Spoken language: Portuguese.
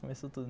Começou tudo.